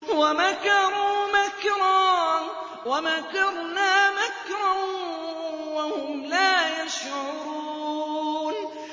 وَمَكَرُوا مَكْرًا وَمَكَرْنَا مَكْرًا وَهُمْ لَا يَشْعُرُونَ